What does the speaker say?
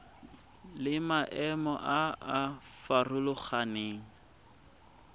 le maemo a a farologaneng